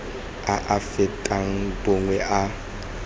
a a fetang bongwe a